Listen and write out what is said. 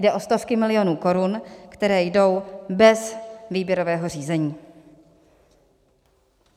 Jde o stovky milionů korun, které jdou bez výběrového řízení.